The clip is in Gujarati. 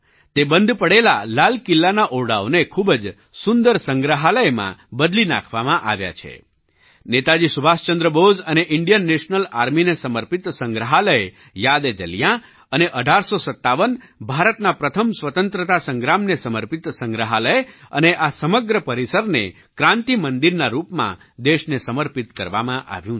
તે બંધ પડેલા લાલ કિલ્લાના ઓરડાઓને ખૂબ જ સુંદર સંગ્રહાલયમાં બદલી નાખવામાં આવ્યા છે નેતાજી સુભાષચંદ્ર બોઝ અને ઇન્ડિયન નેશનલ આર્મીને સમર્પિત સંગ્રહાલય યાદએજલિયાં અને 1857ભારતના પ્રથમ સ્વતંત્રતા સંગ્રામને સમર્પિત સંગ્રહાલય અને આ સમગ્ર પરિસરને ક્રાન્તિ મંદિરના રૂપમાં દેશને સમર્પિત કરવામાં આવ્યું છે